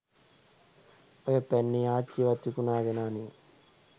ඔය පැන්නේ ආච්චිවත් විකුණගෙන අනේ